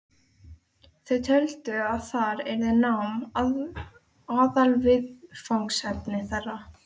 Þau töldu að þar yrði nám aðalviðfangsefni þeirra.